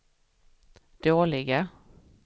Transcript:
dåliga